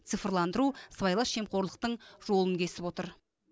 цифрландыру сыбайлас жемқорлықтың жолын кесіп отыр